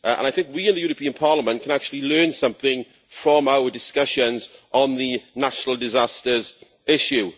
I think we in this Parliament can actually learn something from our discussions on the national disasters issue.